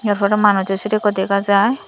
tar pore manujo sire ekko dega jai.